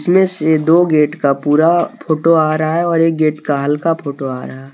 इनमें से दो गेट का पूरा फोटो आ रहा है और एक गेट का हल्का फोटो आ रहा--